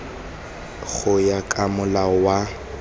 go ya ka molao wa